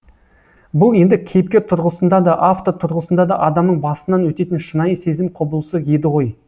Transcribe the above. бұл енді кейіпкер тұрғысында да автор тұрғысында да адамның басынан өтетін шынайы сезім құбылысы еді ғой